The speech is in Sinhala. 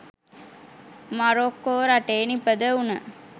මරොක්කෝ රටේ නිපදවුණ